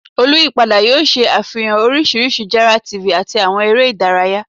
Oluyipada yoo ṣe afihan oriṣiriṣi jara TV ati awọn ere idaraya